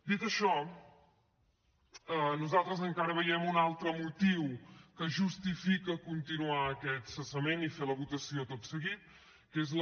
dit això nosaltres encara veiem un altre motiu que justifica continuar aquest cessament i fer la votació tot seguit que és la